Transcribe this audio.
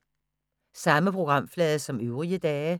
Samme programflade som øvrige dage